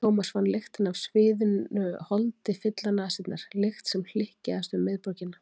Thomas fann lyktina af sviðnu holdi fylla nasirnar, lykt sem hlykkjaðist um miðborgina.